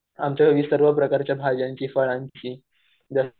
आमच्या गावी सर्व प्रकारच्या भाज्यांची फळांची